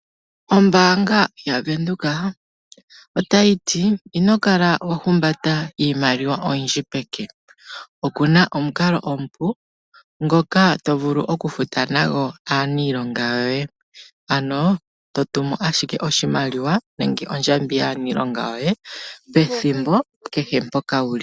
Ombaanga yaVenduka otayitii, inokala ohumbata iimaliwa oyindji peke, okuna onkalo ompu ngoka tovulu okufuta aanilonga yoye, ano totumu ashike oshimaliwa nenge ondjambi yaanilonga yoye pethimbo kehe mpoka wuli.